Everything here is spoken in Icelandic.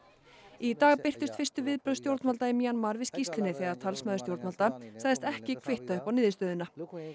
í dag birtust fyrstu viðbrögð stjórnvalda í Mjanmar við skýrslunni þegar talsmaður stjórnvalda sagðist ekki kvitta upp á niðurstöðuna